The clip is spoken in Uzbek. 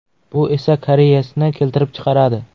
Bu esa kariyesni keltirib chiqaradi.